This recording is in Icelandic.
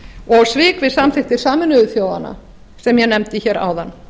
og svik við samþykktir sameinuðu þjóðanna sem ég nefndi hér áðan